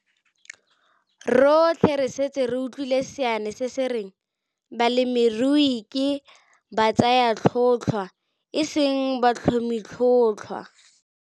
Rotlhe re setse re utlwile seane se se reng, balemirui ke batsayatlhotlhwa, e seng batlhomitlhotlhwa.